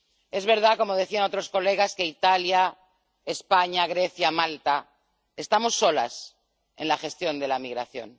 Es verdad, como decían otros colegas, que en Italia, España, Grecia y Malta estamos solos en la gestión de la migración.